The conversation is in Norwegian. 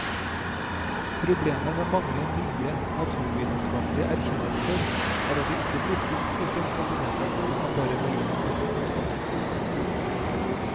Problemet med mange nye, naturvitenskapelige erkjennelser er at de ikke blir fullt så sensasjonelle hvis man bare veier dem opp mot fornuftens domstol.